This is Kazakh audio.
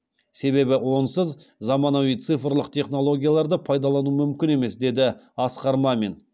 себебі онсыз заманауи цифрлық технологияларды пайдалану мүмкін емес деді асқар мамин